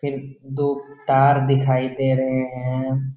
फिर दो तार दिखाई दे रहे हैं।